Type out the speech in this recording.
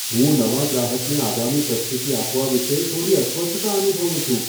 હું નવા ગ્રાહકને આગામી પ્રસ્તુતિ આપવા વિશે થોડી અસ્વસ્થતા અનુભવું છું.